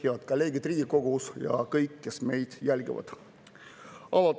Head kolleegid Riigikogus ja kõik, kes meid jälgivad!